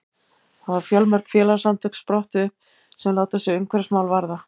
þá hafa fjölmörg félagasamtök sprottið upp sem láta sig umhverfismál varða